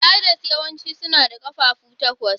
Spiders yawanci suna da ƙafafu takwas.